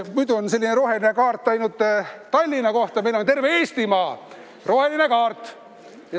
Muidu on selline roheline kaart ainult Tallinna jaoks, aga meil on terve Eestimaa roheline kaart.